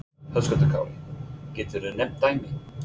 Höskuldur Kári: Geturðu nefnt dæmi?